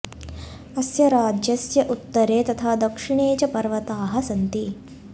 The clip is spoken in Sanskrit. अस्य राज्यस्य उत्तरे तथा दक्षिणे च पर्वताः सन्ति